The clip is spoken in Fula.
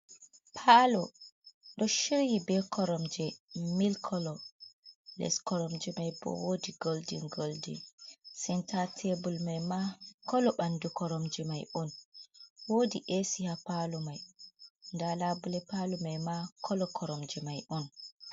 paalo ɗo shiryi bee koromje mil kolo les koromje may boo woodi goldin goldin, senta teebul may ma kolo ɓandu koromje may on woodi eesi haa paalo may, ndalabule paalo may ma kolo koromje may on.